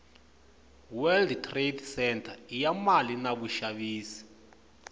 world trade centre iyamale navushavisi